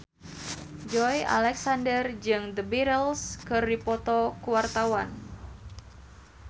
Joey Alexander jeung The Beatles keur dipoto ku wartawan